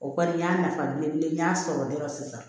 O kɔni n y'a nafa belebele n y'a sɔrɔ dɔrɔn sisan